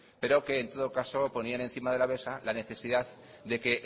pero que en todo caso ponían encima de la mesa la necesidad de que